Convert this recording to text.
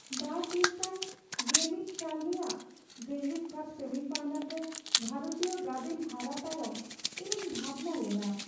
᱒᱐᱑᱑ ᱥᱟᱞ ᱨᱮᱭᱟᱜ ᱡᱮᱜᱮᱫ ᱠᱟᱯ ᱥᱮᱢᱤᱯᱷᱟᱭᱱᱮᱞ ᱨᱮ ᱵᱷᱟᱨᱚᱛᱤᱭᱚ ᱜᱟᱫᱮᱞ ᱦᱟᱨᱟᱣ ᱛᱟᱭᱚᱢ ᱤᱧᱤᱧ ᱵᱷᱟᱵᱽᱱᱟ ᱞᱮᱱᱟ ᱾